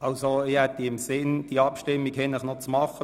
Ich habe im Sinn, die Abstimmung noch heute Abend durchzuführen.